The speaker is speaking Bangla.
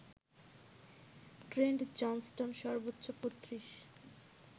ট্রেন্ট জনস্টন সর্বোচ্চ ৩৫